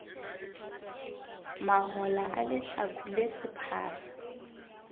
mahola a lehlaku le sephara